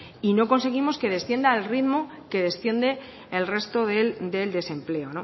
y no conseguimos que descienda al ritmo que desciende el resto del desempleo